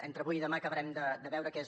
entre avui i demà acabarem de veure que és